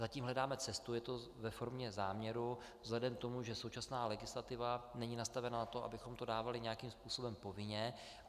Zatím hledáme cestu, je to ve formě záměru vzhledem k tomu, že současná legislativa není nastavena na to, abychom to dávali nějakým způsobem povinně.